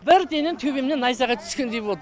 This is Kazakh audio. бірдене төбемнен найзағай түскендей болды